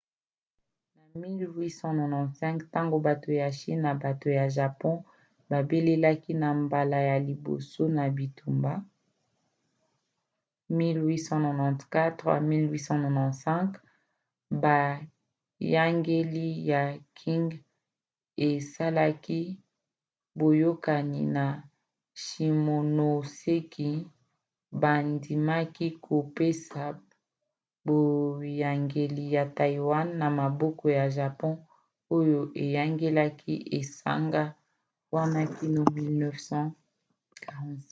na 1895 ntango bato ya chine na bato ya japon babelaki na mbala ya liboso na bitumba 1894-1895 boyangeli ya qing esalaki boyokani na shimonoseki bandimaki kopesa boyangeli ya taiwan na maboko ya japon oyo eyangelaki esanga wana kino 1945